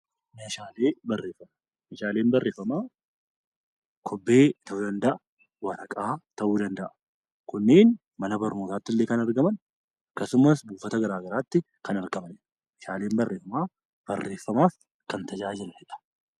Meeshaaleen barreeffama kophee yookiin waraqaa ta'uu danda'a. Kuniin mana barnootaattillee kan argaman akkasumas buufataalee fayyaa garagaraa keessatti kan argamanidha. Meeshaaleen barreeffamaa barreeffamaaf kan gargaaranidha.